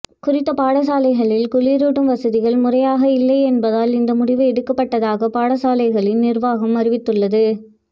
குறித்த பாடசாலைகளில் குளிருட்டும் வசதிகள் முறையாக இல்லையென்பதால் இந்த முடிவு எடுக்கபட்டதாக பாடசாலைகளின் நிர்வாகம் அறிவித்துள்ளது